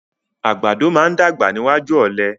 Àgbàdo máa ń dàgbà níwájú ọ̀lẹ.